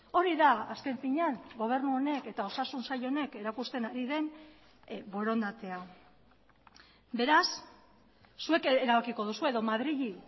hori da azken finean gobernu honek eta osasun sail honek erakusten ari den borondatea beraz zuek erabakiko duzue edo madrili